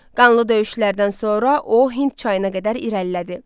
Qanlı döyüşlərdən sonra o Hind çayına qədər irəlilədi.